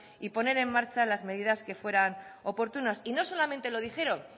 y poner en marcha las medidas que fueran oportunas y no solamente lo dijeron